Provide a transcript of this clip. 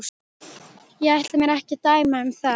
Ég ætla mér ekki að dæma um það.